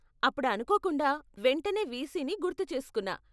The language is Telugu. అప్పుడు అనుకోకుండా, వెంటనే వీసీని గుర్తు చేసుకున్నా.